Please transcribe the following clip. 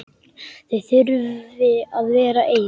Þau þurfi að vera ein.